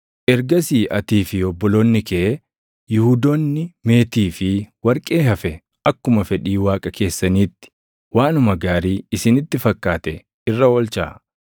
Ergasii atii fi obboloonni kee Yihuudoonni meetii fi warqee hafe akkuma fedhii Waaqa keessaniitti waanuma gaarii isinitti fakkaate irra oolchaa.